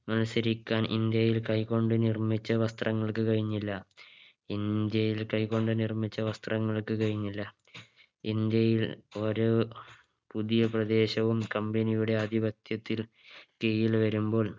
മത്സരിക്കാൻ ഇന്ത്യയിൽ കൈകൊണ്ട് നിർമിച്ച വസ്ത്രങ്ങൾക്ക് കഴിഞ്ഞില്ല ഇന്ത്യയിൽ കൈകൊണ്ട് നിർമിച്ച വസ്ത്രങ്ങൾക്ക് കഴിഞ്ഞില്ല ഇന്ത്യയിൽ ഓരോ പുതിയ പ്രദേശവും Company യുടെ ആധിപത്യത്തിൽ കീഴിൽ വരുമ്പോൾ